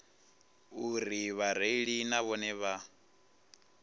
uri vhareili na vhone vha